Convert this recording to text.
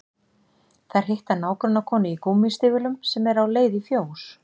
Þær hitta nágrannakonu í gúmmístígvélum sem er á leið í fjós